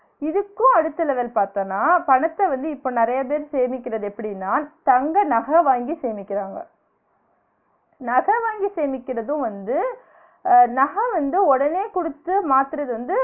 இதுக்கும் அடுத்த level பாத்தோனா பணத்த வந்து இப்ப நெறைய பேர் சேமிக்கிறது எப்டினா தங்க நக வாங்கி சேமிக்குறாங்க நக வாங்கி சேமிக்கிறது வந்து நக வந்து உடனே குடுத்து மாத்துறது வந்து